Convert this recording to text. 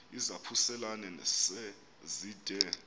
izaphuselana se zide